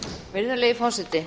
virðulegi forseti